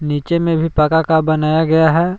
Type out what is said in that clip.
नीचे में भी पक्का का बनाया गया है।